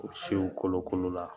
U siw kolokolola.